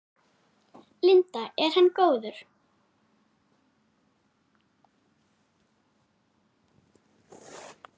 Linda: Er hann góður?